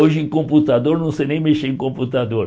Hoje em computador, não sei nem mexer em computador.